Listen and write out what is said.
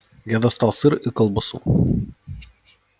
я достал сыр и колбасу